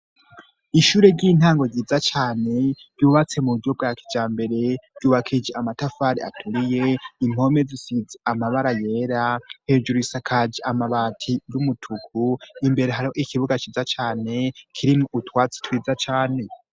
Ishure ry'intango ryiza cane ryubatse mu buryo bwa kijambere, ryubakishije amatafari aturiye, impome zisize amabara yera, hejuru isakaje amabati y'umutuku, imbere hariho ikibuga ciza cane kirimwo utwatsi twiza cane.